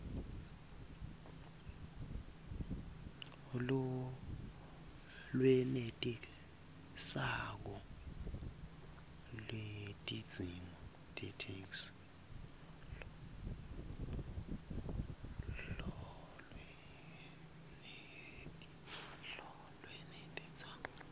lolwenetisako lwetidzingo tetheksthi